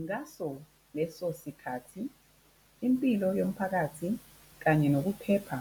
Ngaso leso sikhathi, impilo yomphakathi kanye nokuphepha